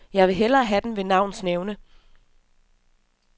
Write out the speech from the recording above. Jeg vil hellere have den ved navns nævnelse.